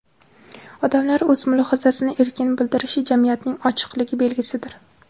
Odamlar o‘z mulohazasini erkin bildirishi jamiyatning ochiqligi belgisidir.